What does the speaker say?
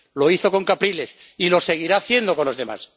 Lo hizo con Capriles y lo seguirá haciendo con los demás.